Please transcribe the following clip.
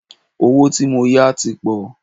Owó tí mó yá tí pọ̀.